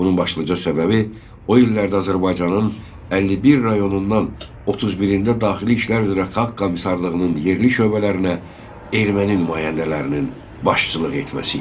Bunun başlıca səbəbi o illərdə Azərbaycanın 51 rayonundan 31-ində daxili işlər üzrə xalq komissarlığının yerli şöbələrinə erməni nümayəndələrinin başçılıq etməsi idi.